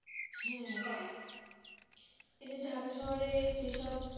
হ্যাঁ এই যে ঢাকা শহরের যেসব,